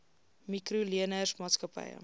mikro leners maatskappye